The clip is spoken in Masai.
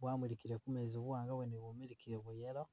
bwamulikile kumezi buwanga bwene bwamulikile bwa yellow .